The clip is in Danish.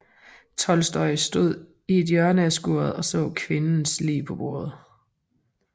Tolstoj stod i et hjørne af skuret og så kvindens lig på bordet